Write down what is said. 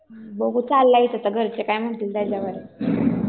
बागही चाललंय आता घरचे काय म्हणतील त्याच्यावर आहे.